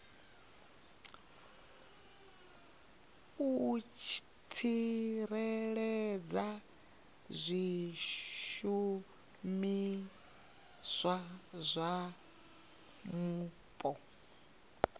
u tsireledza zwishumiswa zwa mupo